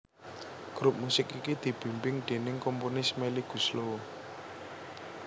Grup musik iki dibimbing déning komponis Melly Goeslaw